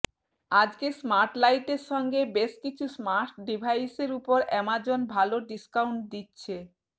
আজকে স্মার্টলাইটের সঙ্গে বেশ কিছু স্মার্ট ডিভাইসের ওপর অ্যামাজন ভাল ডিস্কায়ন্ট দিচ্ছে